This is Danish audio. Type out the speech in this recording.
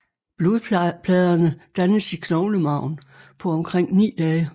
Blodpladerne dannes i knoglemarven på omkring 9 dage